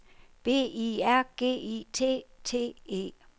B I R G I T T E